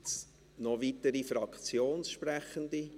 Gibt es noch weitere Fraktionssprechende?